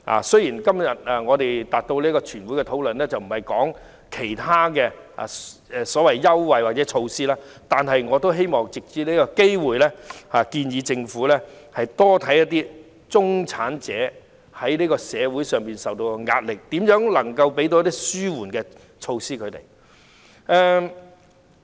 雖然其他優惠或措施已超出全體委員會今天的討論範圍，但我也希望藉此機會，建議政府多留意中產人士在社會上承受的壓力，並研究如何為他們提供紓緩措施。